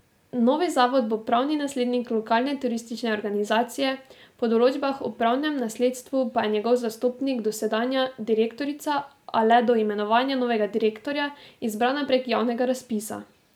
Novi zavod bo pravni naslednik lokalne turistične organizacije, po določbah o pravnem nasledstvu pa je njegov zastopnik dosedanja direktorica, a le do imenovanja novega direktorja, izbranega prek javnega razpisa.